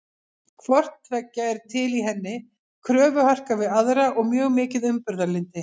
Hvort tveggja er til í henni, kröfuharka við aðra og mjög mikið umburðarlyndi.